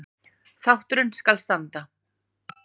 Þátturinn skal standa